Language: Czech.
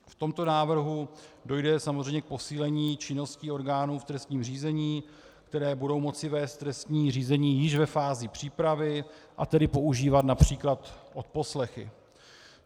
V tomto návrhu dojde samozřejmě k posílení činnosti orgánů v trestním řízení, které budou moci vést trestní řízení již ve fázi přípravy, a tedy používat například odposlechy.